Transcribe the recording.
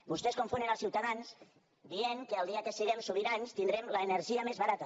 vostès confonen els ciutadans dient que el dia que siguem sobirans tindrem l’energia més barata